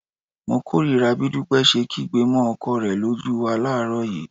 Mo kórìíra bí Dúpẹ́ ṣe kígbe mọ́ ọkọ rẹ lójú wa láàárọ̀ yìí